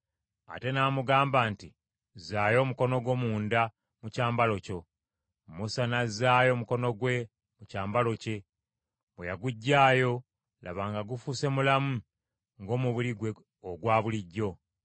Ate n’amugamba nti, “Zzaayo omukono gwo munda mu kyambalo kyo.” Musa n’azzaayo omukono gwe mu kyambalo kye. Bwe yaguggyaayo, laba nga gufuuse mulamu ng’omubiri gwe ogwa bulijjo.